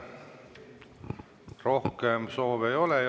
Rohkem soove ei ole.